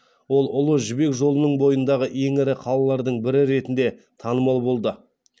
ол ұлы жібек жолының бойындағы ең ірі қалалардың бірі ретінде танымал болды